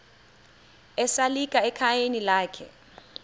esalika ekhayeni lakhe